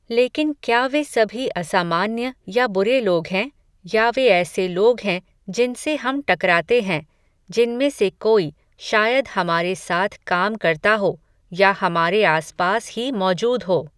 लेकिन क्या वे सभी असामान्य या बुरे लोग हैं, या वे ऐसे लोग हैं, जिनसे हम टकराते हैं, जिनमें से कोई, शायद हमारे साथ काम करता हो, या हमारे आस पास ही मौजूद हो